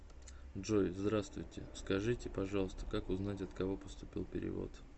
джой здравствуйте скажите пожалуйста как узнать от кого поступил перевод